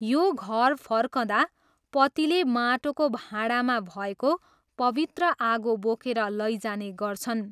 यो घर फर्कँदा पतिले माटोको भाँडामा भएको पवित्र आगो बोकेर लैजाने गर्छन्।